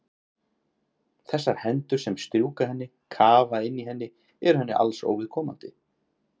Þessar hendur sem strjúka henni, kafa inn í henni eru henni alls óviðkomandi.